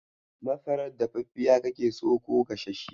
Masarar dafaffiya kake so ko gasasshiya?